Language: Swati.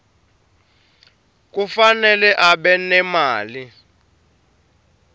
kufanele abe nemali